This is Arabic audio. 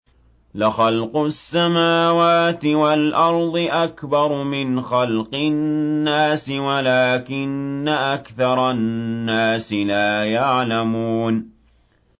لَخَلْقُ السَّمَاوَاتِ وَالْأَرْضِ أَكْبَرُ مِنْ خَلْقِ النَّاسِ وَلَٰكِنَّ أَكْثَرَ النَّاسِ لَا يَعْلَمُونَ